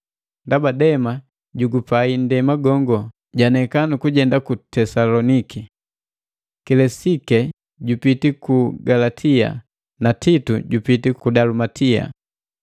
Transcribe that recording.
Ndaba Dema, jugupai nndema gongo janeka nukujenda ku Tesaloniki. Kilesike jupiti ku Galatia na Titu jupiti ku Dalumatia.